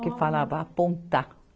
que falava apontar.